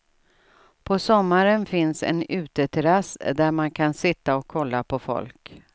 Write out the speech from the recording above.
På sommaren finns en uteterrass där man kan sitta och kolla på folk.